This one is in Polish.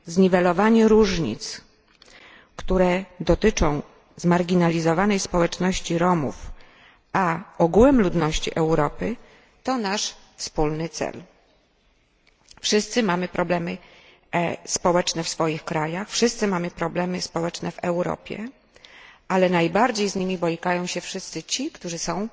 Zniwelowanie różnic, które dotyczą zmarginalizowanej społeczności Romów, a ogółem ludności Europy, to nasz wspólny cel. Wszyscy mamy problemy społeczne w swoich krajach, wszyscy mamy problemy społeczne w Europie, ale najbardziej z nimi borykają się wszyscy ci, którzy są